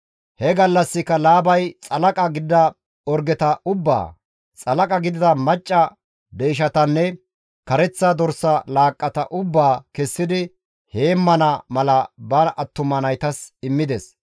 He gallassika Laabay xalaqa gidida orgeta ubbaa, xalaqa gidida macca deyshetanne kareththa dorsa laaqqata ubbaa kessidi heemmana mala ba attuma naytas immides.